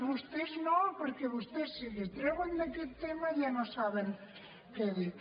vostès no perquè vostès si els treuen d’aquest tema ja no saben què dir